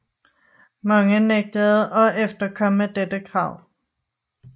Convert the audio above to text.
Mange nægtede at efterkomme dette krav